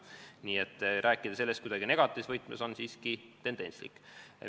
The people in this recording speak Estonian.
Nii et rääkida sellest kuidagi negatiivse võtmes on siiski tendentslik.